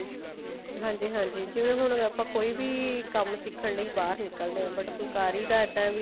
ਹਾਂਜੀ ਹਾਂਜੀ ਜਿਵੇਂ ਹੁਣ ਆਪਾਂ ਕੋਈ ਵੀ ਕੰਮ ਸਿੱਖਣ ਲਈ but ਫੁਲਕਾਰੀ ਦਾ ਇੱਦਾਂ ਵੀ